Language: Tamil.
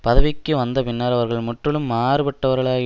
பதவிக்கு வந்த பின்னர் அவர்கள் முற்றிலும் மாறுபட்டவர்களாகி